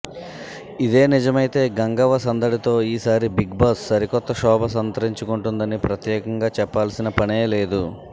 ఇదే నిజమైతే గంగవ్వ సందడితో ఈ సారి బిగ్ బాస్ సరికొత్త శోభ సంతరించుకుంటుందని ప్రత్యేకంగా చెప్పాల్సిన పనే లేదు